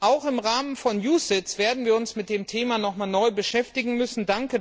Auch im Rahmen von UCITS werden wir uns mit dem Thema noch einmal neu beschäftigen müssen.